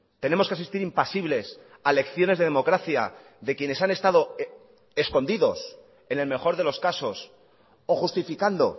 tenemos que asistir impasibles a lecciones de democracia de quienes han estado escondidos en el mejor de los casos o justificando